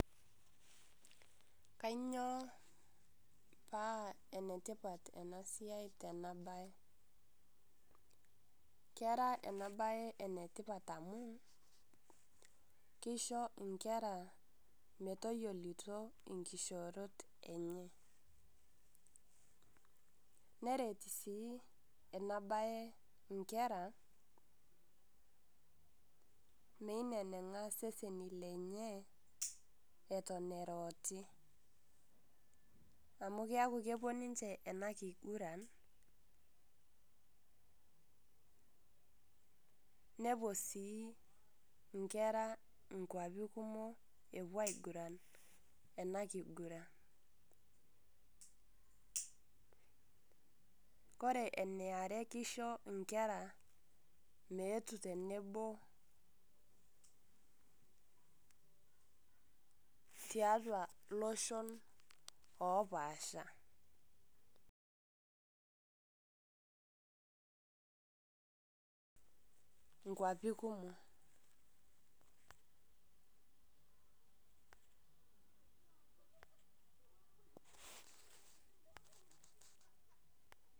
Kanyioo paa enatipaat ena siai tena baye. Kera ena siai enatipaat amu keishoo nkera metoyoluto enkishorot enye. Nereet sii ena baye nkera meineneng'a seseni lenye etoon eroti amu keaku kepoo ninchee ena kiguran. Nepoo sii nkera kwaapi kumook epoo eguran ena kiguran. Kore ena aare keishoo nkera meetu tenebo te atua loshoon opaasha kwapii kumook.